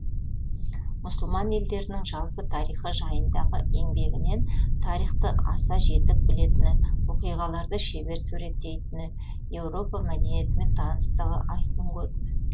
мұсылман елдерінің жалпы тарихы жайындағы еңбегінен тарихты аса жетік білетіні оқиғаларды шебер суреттейтіні еуропа мәдениетімен таныстығы айқын көрінді